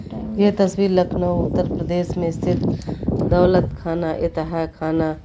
ये तस्वीर लखनऊ उत्तर प्रदेश में स्थित दौलत खाना इतहा खाना--